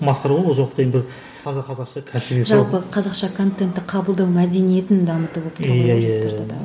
масқара ғой осы уақытқа дейін бір таза қазақша кәсіби жалпы қазақша контентті қабылдау мәдениетін дамыту болып тұр ғой жоспарда да